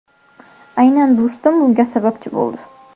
Aynan do‘stim bunga sababchi bo‘ldi.